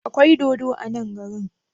Akwai dodo a nan garin?